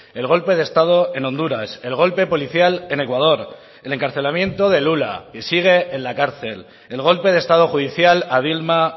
el golpe de estado en honduras el golpe policial en ecuador el encarcelamiento de lula que sigue en la cárcel el golpe de estado judicial a dilma